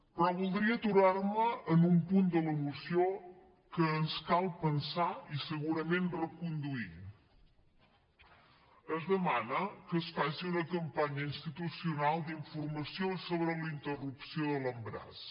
però voldria aturar me en un punt de la moció que ens cal pensar i segurament reconduir es demana que es faci una campanya institucional d’informació sobre la interrupció de l’embaràs